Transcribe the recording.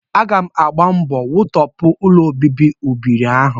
Aga m agba mbọ wutọpụ ụlọobibi ụbịrị ahụ